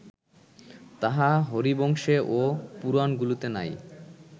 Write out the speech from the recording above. তাহা হরিবংশে ও পুরাণগুলিতে নাই